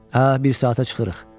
Hə, bir saata çıxırıq.